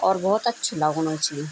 और भौत अच्छू लगणू च।